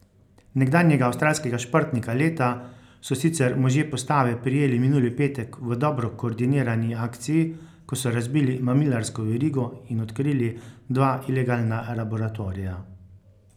Nekdanjega avstralskega športnika leta so sicer možje postave prijeli minuli petek v dobro koordinirani akciji, ko so razbili mamilarsko verigo in odkrili dva ilegalna laboratorija.